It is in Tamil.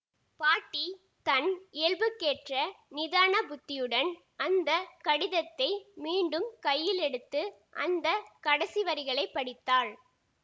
பாட்டி தன் இயல்புக்கேற்ற நிதான புத்தியுடன் அந்த கடிதத்தை மீண்டும் கையிலெடுத்து அந்த கடைசி வரிகளை படித்தாள்